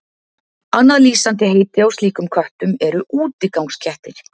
Annað lýsandi heiti á slíkum köttum eru útigangskettir.